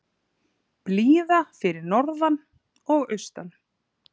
Blíða fyrir norðan og austan